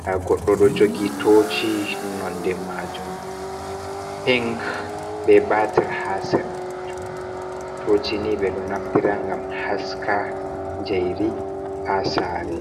nda goɗɗo ɗo jogi toci nonde majun pinc be batir ha sera, toci ni ɓeɗo naftira ngam haska jairi ha sare.